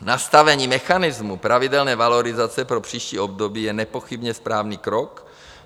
Nastavení mechanismu pravidelné valorizace pro příští období je nepochybně správný krok.